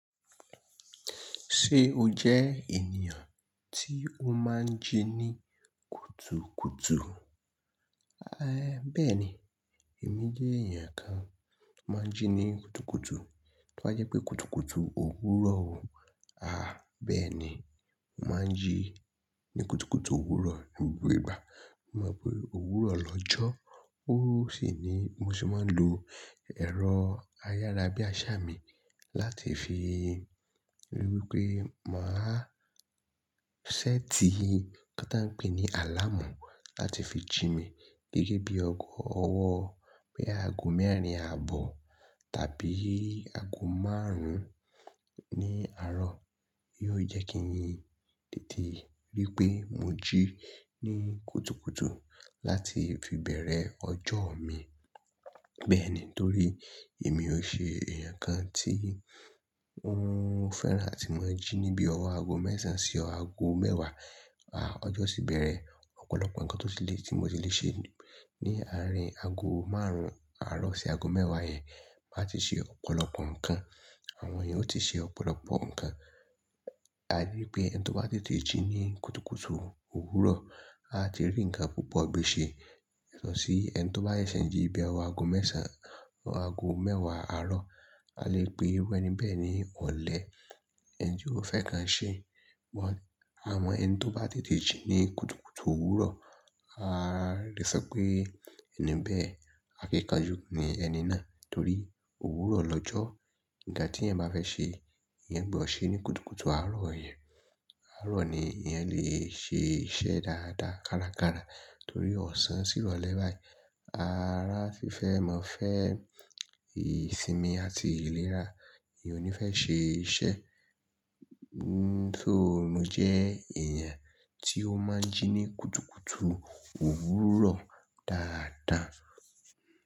Ṣé o jẹ́ ènìyàn tí ó máa ń jí ní kùtùkùtù? Aì, bẹ́ẹ̀ni, èmi jẹ́ ẹ̀yàn kan máa ń jí ní kùtùkùtù. Tí wá jẹ́ pé kùtùkùtù òwúrọ̀ o, aà, bẹ́ẹ̀ni, mo máa ń jí ní kùtùkùtù òwúrọ̀ ní gbogbo ìgbà. Mo mọ̀ pé òwúrọ̀ lọ́jọ́, ó sì ni mo sì máa ń lo ẹ̀rọ ayára bí àsá mi láti fi ríi wí pé màá ṣẹ́ẹ̀tì tó tán pè ní àlámù láti fi jí mi gẹ́gẹ́ bí ọ̀wọ̀ ọwọ́ pé aago mẹ́rin àbọ̀ tàbí aago márùn-ún ní àárọ̀. Yóò jẹ́ kí yin tètè ríi pé mo jí ní kùtùkùtù láti fi bẹ̀rẹ̀ ọjọ́ mi. Bẹ́ẹ̀ni, torí èmi ò ṣe èèyàn kan tí ó ń fẹ́ràn àti máa ń jí níbi ọwọ́ aago mẹ́sàn-án sí ọ aago mẹ́wàá. Aà, ọjọ́ sì bẹ̀rẹ̀. Ọ̀pọ̀lọpọ̀ nǹkan tó ti lè tí mo ti lè ṣe ní àárín aago márùn-ún àárọ̀ sí aago mẹ́wàá yẹn máa ti ṣe ọ̀pọ̀lọpọ̀ nǹkan. Àwọn ènìyàn ó ti ṣe ọ̀pọ̀lọpọ̀ nǹkan. A rí i pé ẹni tó bá tètè jí ní kùtùkùtù òwúrọ̀, a ti rí nǹkan púpọ̀ gbe ṣe yàtọ̀ sí ẹni tó bá ṣẹ̀ṣẹ̀ jí bíi ọwọ́ aago mẹ́sàn-án, aago mẹ́wàá àárọ̀. A lè pe wọ́n ní bẹ́ẹ̀ni ọ̀lẹ, ẹni tí ó fẹ́ kan ṣe. Àwọn ẹni tó bá tètè jí ní kùtùkùtù òwúrọ̀, a lè sọ pé ẹni bẹ́ẹ̀, akíkanjú ní ẹni náà torí òwúrọ̀ lọ́jọ́. Ǹkan tí èèyàn bá fẹ́ ṣe, èèyàn gbọ̀ ṣe ní kùtùkùtù àárọ̀ yẹn. Àárọ̀ ni èèyàn lè ṣe iṣẹ́ dáadáa kárakára torí ọ̀sán sí ìrọ̀lẹ́ báyìí Ara fi fẹ́ mọ fẹ́ ìsinmi àti ìlera, èèyàn ò ní fẹ́ ṣe iṣẹ́. Nítorí mo jẹ́ èèyàn tí ó máa ń jí ní kùtùkùtù òwúrọ̀ dáadáa.